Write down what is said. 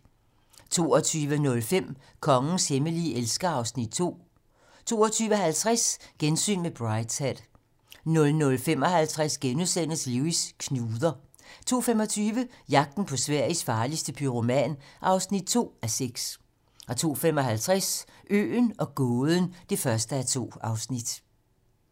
22:05: Kongens hemmelige elsker (Afs. 2) 22:50: Gensyn med Brideshead 00:55: Lewis: Knuder * 02:25: Jagten på Sveriges farligste pyroman (2:6) 02:55: Øen og gåden (1:2)